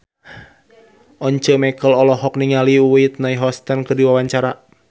Once Mekel olohok ningali Whitney Houston keur diwawancara